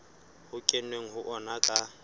ho kenweng ho ona ka